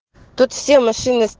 тут все машины с